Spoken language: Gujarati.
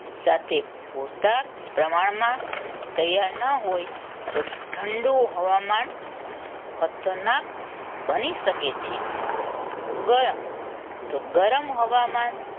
સાથે પૂરતા પ્રમાણમાં તૈયાર ન હોય તો ઠંડું હવામાન ખતરનાક બની શકે છે ગરમ ગરમ હવામાન